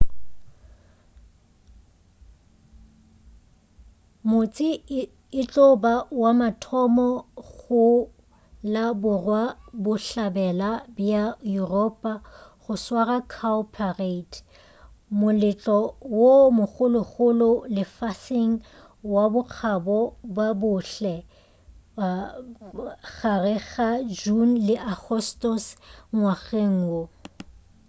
motse e tlo ba wa mathomo go la borwa-bohlabela bja yuropa go swara cowparade moletlo wo mogologolo lefaseng wa bokgabo ba bohle gare ga june le agostose ngwageng wo